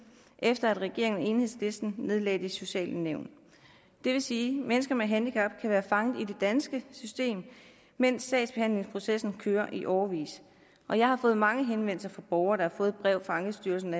efter at regeringen og enhedslisten nedlagde de sociale nævn det vil sige at mennesker med handicap kan være fanget i det danske system mens sagsbehandlingsprocessen kører i årevis og jeg har fået mange henvendelser fra borgere der et brev fra ankestyrelsen